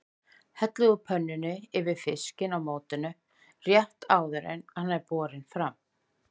Hellið úr pönnunni yfir fiskinn í mótinu rétt áður en hann er borinn fram.